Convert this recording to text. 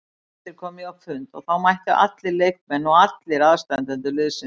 Daginn eftir kom ég á fund og þá mættu allir leikmenn og allir aðstandendur liðsins.